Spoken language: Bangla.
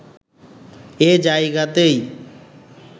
এ জায়গাতেই